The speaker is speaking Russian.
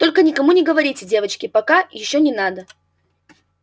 только никому не говорите девочки пока ещё не надо